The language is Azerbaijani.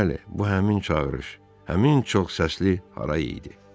Bəli, bu həmin çağırış, həmin çox səsli hara idi.